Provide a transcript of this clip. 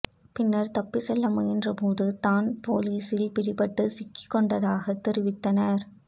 பின்னர் தப்பி செல்ல முயன்றபோது தான் போலீஸ் பிடியில் சிக்கி கொண்டதாக தெரிவித்தனர்